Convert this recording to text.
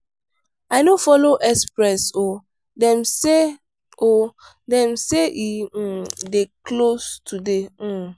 i no folo express o dem say o dem say e um dey close today. um